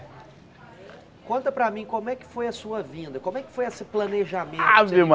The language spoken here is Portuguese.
Conta para mim como é que foi a sua vinda, como é que foi esse planejamento? Ave